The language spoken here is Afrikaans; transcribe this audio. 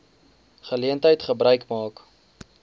geleentheid gebruik maak